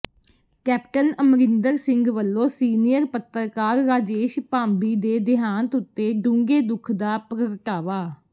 captain Amarinder Singh ਵੱਲੋਂ senior ਪੱਤਰਕਾਰ ਰਾਜੇਸ਼ ਭਾਂਬੀ ਦੇ ਦੇਹਾਂਤ ਉਤੇ ਡੂੰਘੇ ਦੁੱਖ ਦਾ ਪ੍ਰਗਟਾਵਾ